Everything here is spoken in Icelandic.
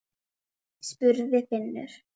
spurði Finnur.